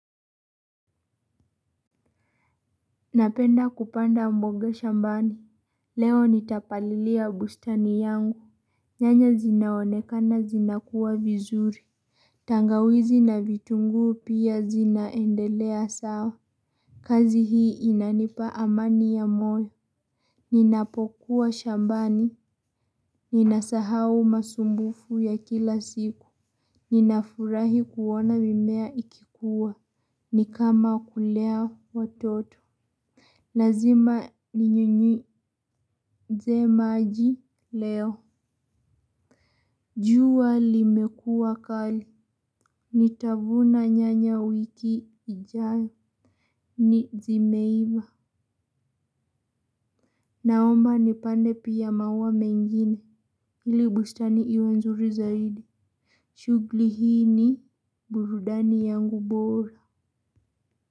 Napenda kupanda mboga shambani. Leo nitapalilia bustani yangu. Nyanya zinaonekana zinakua vizuri. Tangawizi na vitunguu pia zinaendelea sawa. Kazi hii inanipa amani ya moyo. Ninapokuwa shambani. Ninasahau masumbufu ya kila siku. Ninafurahi kuona mimea ikikuwa. Nikama kulea watoto. Lazima ni nyunyi ze maji leo. Jua limekuwa kali. Nitavuna nyanya wiki ijayo zimeiva. Naomba nipande pia maua mengine. Ili bustani iwe nzuri zaidi. Shughuli hii ni burudani yangu bora.